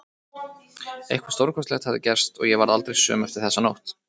Eitthvað stórkostlegt hafði gerst og ég varð aldrei söm eftir þessa nótt.